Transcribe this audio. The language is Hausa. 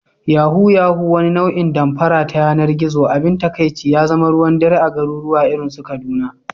Yahoo yahoo, wani nau'in damfara ta yanar gizo, abin takaici ya zama ruwan dare a garuruwa irin su Kaduna